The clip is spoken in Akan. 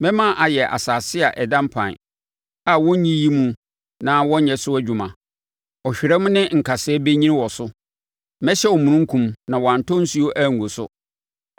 Mɛma ayɛ asase a ɛda mpan a worenyiyi mu na wɔnyɛ so adwuma, ɔhwerɛm ne nkasɛɛ bɛnyini wɔ so. Mɛhyɛ omununkum na wantɔ nsuo angu so.”